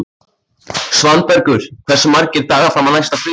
Svanbergur, hversu margir dagar fram að næsta fríi?